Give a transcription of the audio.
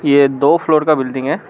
ये दो फ्लोर का बिल्डिंग है।